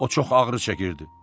O çox ağrı çəkirdi.